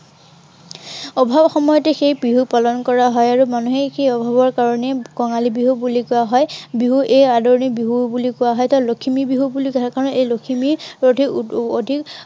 অভাৱ সময়তে সেই বিহু পালন কৰা হয় আৰু মানুহে সেই অভাৱৰ কাৰনেই কঙালী বিহু বুলি কোৱা হয়। বিহু এই আদৰণি বিহু বুলি কোৱা হয়। লখিমী বিহু বুলি, সেই কাৰনে এই লখিমী এৰ অধিক